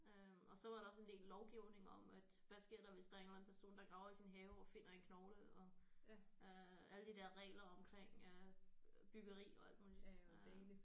Øh og så var der også en del lovgivning om at hvad sker der hvis der er en eller anden person der graver i sin have og finder en knogle og øh alle de der regler omkring øh byggeri og alt muligt øh